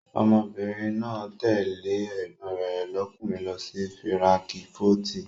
Ọmọbìnrin náà tẹ̀lé ẹ̀gbọ́n rẹ̀ lọ́kùnrin lọ sí fíránkífọ́tì.